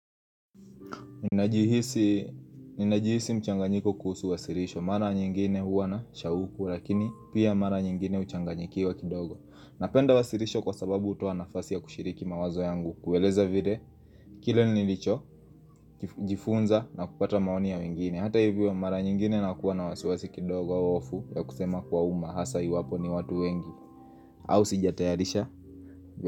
Ninajihisi mchanganyiko kuhusu wasilisho, mara nyingine huwa nashauku, lakini pia mara nyingine huchanganyikiwa kidogo. Napenda wasilisho kwa sababu hutua nafasi ya kushiriki mawazo yangu, kueleza vile, kile nilicho, jifunza na kupata maoni ya wengine. Hata hivyo, mara nyingine nakuwa na wasiwasi kidogo au wofu ya kusema kuwa umma hasa iwapo ni watu wengi au sijatayarisha jatayarisha.